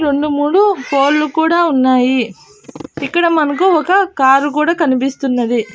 రెండు మూడు ఫోళ్ళు కూడా ఉన్నాయి ఇక్కడ మనకు ఒక కారు కూడా కనిపిస్తున్నది.